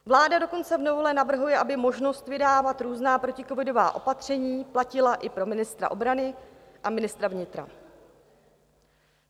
Vláda dokonce v novele navrhuje, aby možnost vydávat různá proticovidová opatření platila i pro ministra obrany a ministra vnitra.